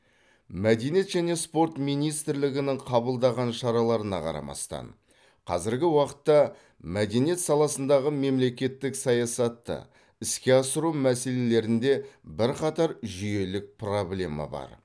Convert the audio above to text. мәдениет және спорт министрлігінің қабылдаған шараларына қарамастан қазіргі уақытта мәдениет саласындағы мемлекеттік саясатты іске асыру мәселелерінде бірқатар жүйелік проблема бар